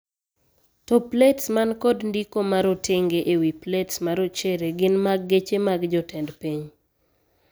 To plets man kod ndiko marotenge ewii plets marochere gin mag geche mag jotend piny.